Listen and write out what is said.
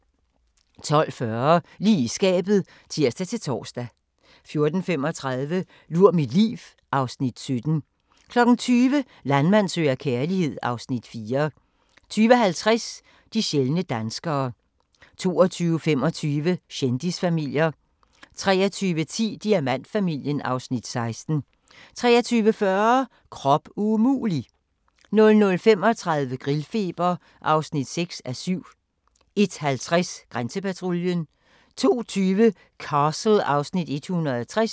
12:40: Lige i skabet (tir-tor) 14:35: Lur mit liv (Afs. 17) 20:00: Landmand søger kærlighed (Afs. 4) 20:50: De sjældne danskere 22:25: Kendisfamilier 23:10: Diamantfamilien (Afs. 16) 23:40: Krop umulig! 00:35: Grillfeber (6:7) 01:50: Grænsepatruljen 02:20: Castle (Afs. 160)